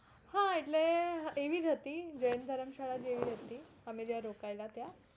હા એટલે એવી જ હતી જૈન ધર્મશાળા જેવી હતી અમે જ્યાં રોકાયેલા ત્યાં